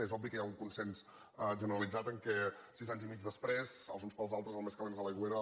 és obvi que hi ha un consens generalitzat que sis anys i mig després els uns pels altres el més calent és a l’aigüera